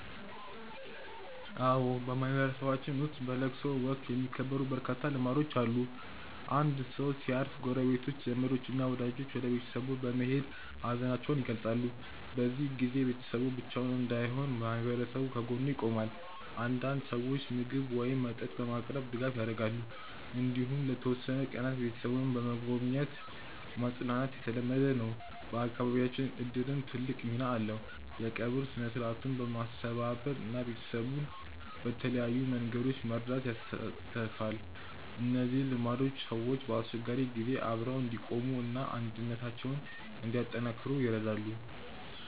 አዎ፣ በማህበረሰባችን ውስጥ በለቅሶ ወቅት የሚከበሩ በርካታ ልማዶች አሉ። አንድ ሰው ሲያርፍ ጎረቤቶች፣ ዘመዶች እና ወዳጆች ወደ ቤተሰቡ በመሄድ ሀዘናቸውን ይገልጻሉ። በዚህ ጊዜ ቤተሰቡ ብቻውን እንዳይሆን ማህበረሰቡ ከጎኑ ይቆማል። አንዳንድ ሰዎች ምግብ ወይም መጠጥ በማቅረብ ድጋፍ ያደርጋሉ። እንዲሁም ለተወሰኑ ቀናት ቤተሰቡን በመጎብኘት ማጽናናት የተለመደ ነው። በአካባቢያችን እድርም ትልቅ ሚና አለው፤ የቀብር ሥነ-ሥርዓቱን በማስተባበር እና ቤተሰቡን በተለያዩ መንገዶች በመርዳት ይሳተፋል። እነዚህ ልማዶች ሰዎች በአስቸጋሪ ጊዜ አብረው እንዲቆሙ እና አንድነታቸውን እንዲያጠናክሩ ይረዳሉ።